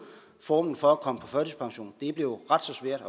formen for at komme på førtidspension det er blevet ret så svært